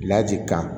kan